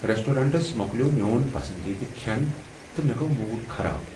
Restaurants مکلیو میون پسندیدٕ کھٮ۪ن تہٕ مےٚ گوو موڈ خراب ۔